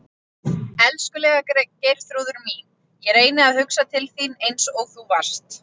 Elskulega Geirþrúður mín, ég reyni að hugsa til þín eins og þú varst.